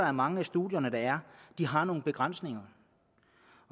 at mange af studierne har nogle begrænsninger